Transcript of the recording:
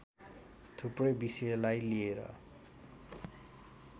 थुप्रै विषयलाई लिएर